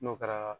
N'o kɛra